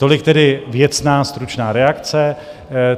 Tolik tedy věcná stručná reakce.